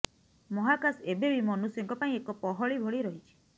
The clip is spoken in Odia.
ମହକାଶ ଏବେ ବି ମନୁଷ୍ୟଙ୍କ ପାଇଁ ଏକ ପହଳି ଭଳି ରହିଛି